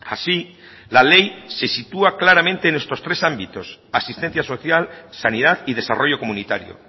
así la ley se sitúa claramente en estos tres ámbitos asistencia social sanidad y desarrollo comunitario